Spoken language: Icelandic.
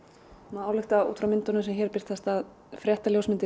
má álykta út frá myndunum sem hér birtast að